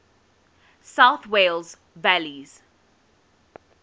south wales valleys